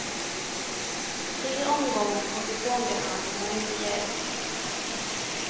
Tre omgångar kortisonbehandling har inte hjälpt.